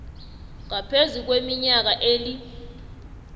ngaphezu kweminyaka eli